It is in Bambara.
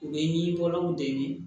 U bɛ ɲinɔgɔlanw de ɲini